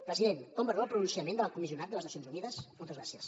president com valora el pronunciament de l’alt comissionat de les nacions unides moltes gràcies